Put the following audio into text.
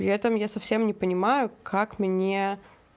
летом я совсем не понимаю как мне